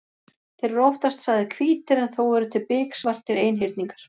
Þeir eru oftast sagðir hvítir en þó eru til biksvartir einhyrningar.